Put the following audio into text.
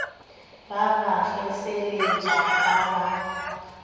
ba ba kgeseletša ba sa